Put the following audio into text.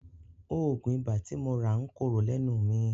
Òògùn ibà tí mo rà ń korò lẹ́nu mi.